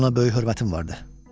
Ona böyük hörmətim vardı.